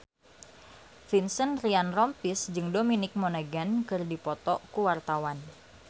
Vincent Ryan Rompies jeung Dominic Monaghan keur dipoto ku wartawan